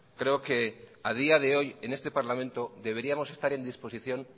creo que a día de hoy en este parlamento deberíamos estar en disposición